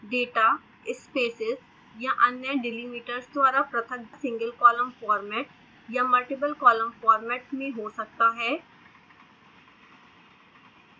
data spaces या अन्य delimiters द्वारा पृथक सिंगल कॉलम फॉर्मेट या मल्टिपल कॉलम फॉर्मेट में हो सकता है